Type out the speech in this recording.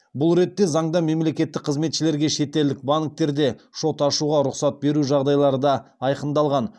бұл ретте заңда мемлекеттік қызметшілерге шетелдік банктерде шот ашуға рұқсат беру жағдайлары да айқындалған